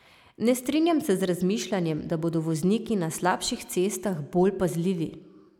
Ne strinjam se z razmišljanjem, da bodo vozniki na slabših cestah bolj pazljivi.